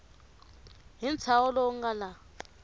hi ntshaho lowu nga laha